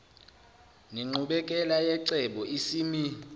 nenqubekela yecebo isimi